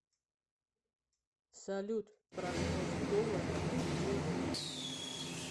салют прогноз доллара на неделю